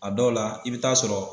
A dɔw la i bɛ t'a sɔrɔ